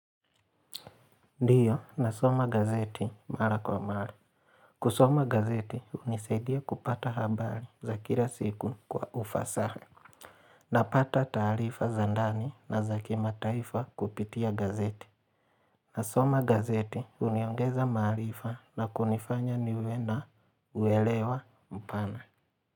Ndio nasoma gazeti mara kwa mara. Kusoma gazeti hunisaidia kupata habari za kila siku kwa ufasaa. Napata taarifa za ndani na za kimataifa kupitia gazeti. Nasoma gazeti huniongeza maalifa na kunifanya niwe na uelewa mpana.